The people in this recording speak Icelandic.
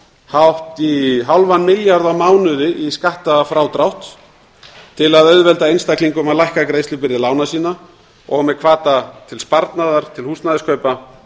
hátt í hálfan milljarð á mánuði í skattfrádrátt til að auðvelda einstaklingum að lækka greiðslubyrði lána sinna og með hvata til sparnaðar til húsnæðiskaupa